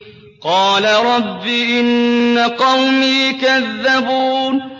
قَالَ رَبِّ إِنَّ قَوْمِي كَذَّبُونِ